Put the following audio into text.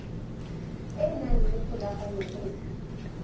e nang le kgolagano le